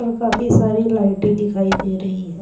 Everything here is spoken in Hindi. और काफी सारी लाइटें दिखाई दे रही है।